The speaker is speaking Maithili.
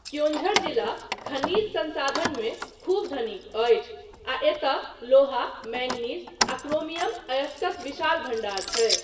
क्योञ्झर जिला खनिज संसाधनमे खूब धनिक अछि आ एतय लोहा, मैङ्गनीज आ क्रोमियम अयस्कक विशाल भण्डार छै।